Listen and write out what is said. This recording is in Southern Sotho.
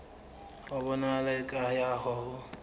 ho bonahala eka ha ho